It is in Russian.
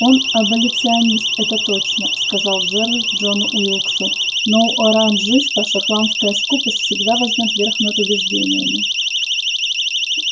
он аболиционист это точно сказал джералд джону уилксу но у оранжиста шотландская скупость всегда возьмёт верх над убеждениями